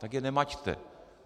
Tak je nemaťte.